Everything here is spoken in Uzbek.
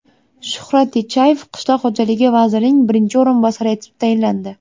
Shuhrat Teshayev Qishloq xo‘jaligi vazirining birinchi o‘rinbosari etib tayinlandi.